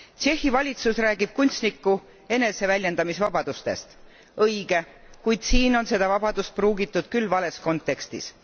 Tšehhi valitsus räägib kunstniku eneseväljendamisvabadustest õige, kuid siin on seda vabadust pruugitud küll vales kontekstis.